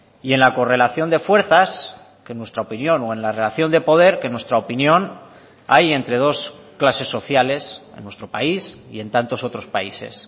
y en la correlación de fuerzas que en nuestra opinión o en la relación de poder que en nuestra opinión hay entre dos clases sociales en nuestro país y en tantos otros países